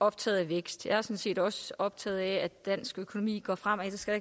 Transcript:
optaget af vækst jeg er sådan set også optaget af at dansk økonomi går fremad det skal